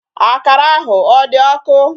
Akara ahụ ọ dị ọkụ?